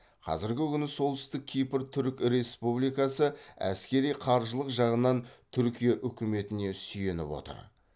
қазіргі күні солтүстік кипр түрік республикасы әскери қаржылық жағынан түркия үкіметіне сүйеніп отыр